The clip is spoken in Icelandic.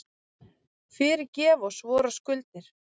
Fyrirgef oss vorar skuldir,